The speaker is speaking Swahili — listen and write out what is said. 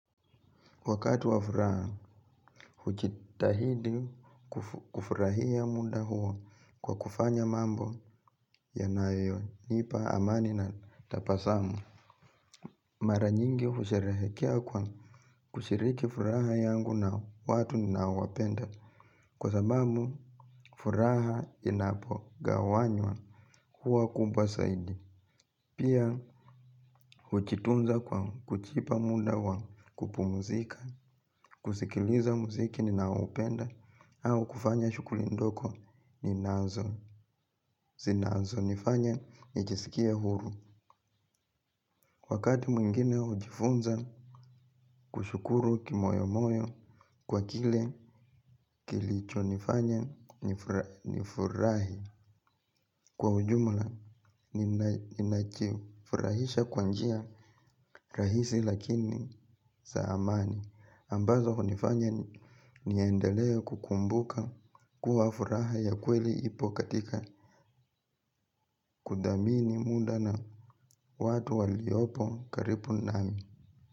Wakati wa furaha, hujitahidi kufurahia muda huo kwa kufanya mambo yanayonipa amani na tabasamu. Mara nyingi husherehekea kwa kushiriki furaha yangu na watu ninaowapenda. Kwa sababu, furaha inapogawanywa huwa kubwa zaidi. Pia hujitunza kwa kujipa muda wa kupumuzika, kusikiliza muziki ninaoupenda au kufanya shughuli ndogo ninazo. Zinazonifanya nijisikie huru. Wakati mwingine hujifunza kushukuru kimoyomoyo kwa kile kilichonifanya nifurahi. Kwa ujumla ninajifurahisha kwa njia rahisi lakini za amani. Ambazo hunifanya niendelee kukumbuka kuwa furaha ya kweli ipo katika kudhamini muda na watu waliopo karibu nami.